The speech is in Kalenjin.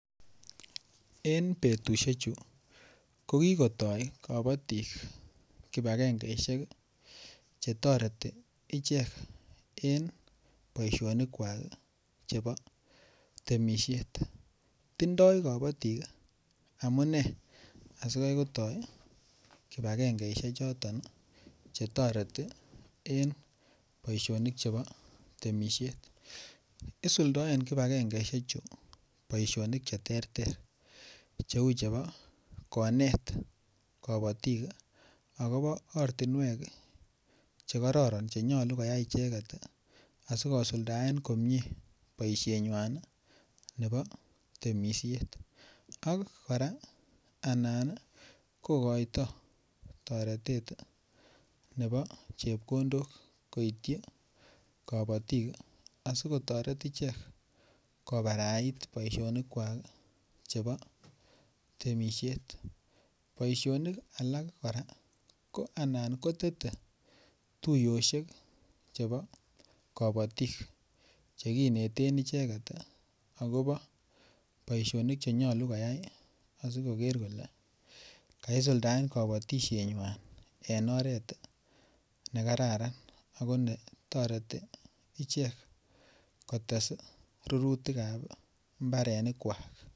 En betusiechu kogikotoi bik kibagengesiek Che toreti ichek en boisionik kwak chebo temisiet tindoi kabatik amune asi Kai kotoi kibagengesiek choton Che toreti en boisionik chebo temisiet isuldoen kibagengesiek chu boisionik Che terter Cheu chebo konet kabatik agobo ortinwek Che kororon Che nyolu koyai icheget asi kosuldaen komie boisienywa nebo temisiet ak kora anan kogoitoi toretet nebo chepkondok koityi kabatik asi kotoret ichek kobarait boisionikwak chebo temisiet boisionik alak kora ko anan kotete tuiyosiek chebo kabatik Che kineten ichek agobo boisionik Che nyolu koyai asi koger kole kaisuldaen kabatisienywan en oret ne kararan ako netoreti ichek kotes rurutik ab mbarenikwak